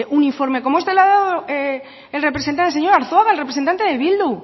un informe como este le ha dado el representante el señor arzuaga el representante de bildu